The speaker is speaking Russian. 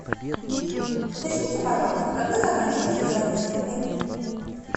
уточните пожалуйста когда заканчивается заезд в отель